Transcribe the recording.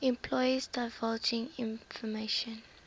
employees divulging information